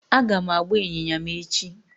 Aga m agba ịnyịnya m echi